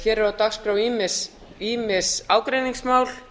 hér eru á dagskrá ýmis ágreiningsmál